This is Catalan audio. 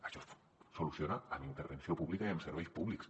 això es soluciona amb intervenció pública i amb serveis públics